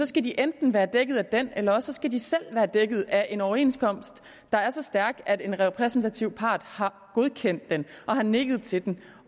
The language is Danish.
skal de enten være dækket af den eller også skal de selv være dækket af en overenskomst der er så stærk at en repræsentativ part har godkendt den og har nikket til den